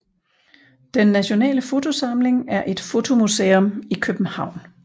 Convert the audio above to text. Den Nationale Fotosamling er et fotomuseum i København